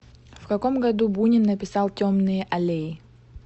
в каком году бунин написал темные аллеи